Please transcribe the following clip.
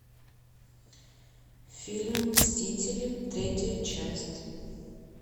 фильм мстители третья часть